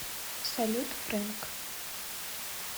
салют фрэнк